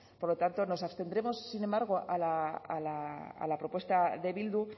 por lo tanto nos abstendremos sin embargo a la propuesta de bildu